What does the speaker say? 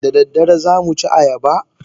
Da daddare za mu ci ayaba?